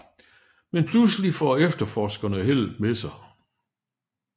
Men pludselig får efterforskerne heldet med sig